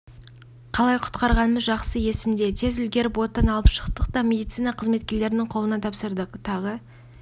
қалай құтқарғанымыз жақсы есімде тез үлгеріп оттан алып шықтық та медицина қызметкерлерінің қолына тапсырдық тағы